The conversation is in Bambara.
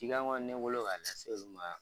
Cikan kɔni ne bolo k'a lase olu ma